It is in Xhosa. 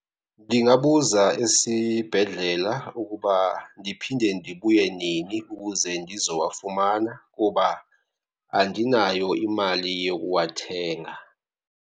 Ndingabuza esibhedlela ukuba ndiphinde ndibuye nini ukuze ndizowafumana, kuba andinayo imali yokuwathenga.